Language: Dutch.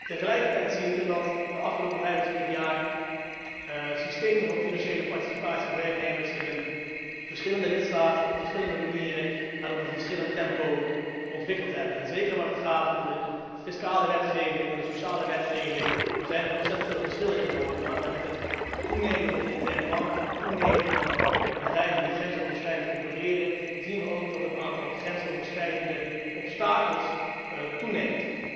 Tegelijkertijd zien we dat in de afgelopen 25 jaar systemen van financiële participatie van werknemers zich in verschillende lidstaten op verschillende manieren en in een verschillend tempo ontwikkeld hebben. Zeker waar het gaat om de fiscale en sociale wetgeving zijn er ontzettend veel verschillen in Europa, en met het toenemen van de interne markt, met het toenemen van bedrijven die grensoverschrijdend opereren, zien we ook dat het aantal grensoverschrijdende obstakels toeneemt.